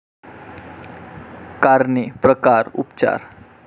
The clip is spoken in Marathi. कारणे, प्रकार, उपचार